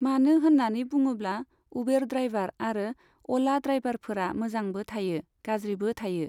मानो होननानै बुङोब्ला उबेर ड्रायभार आरो अ'ला ड्रायभारफोरा मोजांबो थायो, गाज्रिबो थायो।